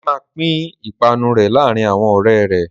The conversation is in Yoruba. Délé máa pín ìpanu rẹ̀ láàárin àwọn ọ̀rẹ́ rẹ̀.